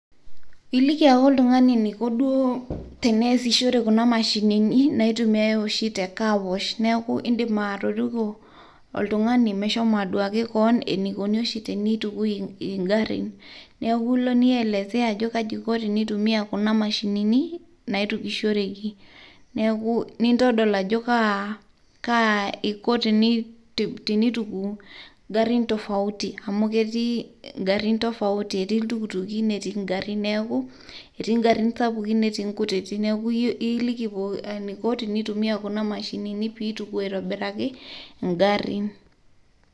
Iliki ake oltung'ani eniko duo teneesishore kuna mashinini naitumiai oshi te car wash. Neeku idim atoriko oltung'ani meshomo aduaki keon enikoni oshi tenitukui igarrin. Neku ilo nielesea ajo kaji iko tenitumia kuna mashinini, naitukushoreki. Neeku nintodol ajo kaa, kaa iko tenituku garrin tofauti. Amu ketii garrin tofauti. Etii iltukutuki, netii garrin sapukin netii inkutitik. Neeku iliki eniko tenitumia kuna mashinini pituku aitobiraki, egarrin.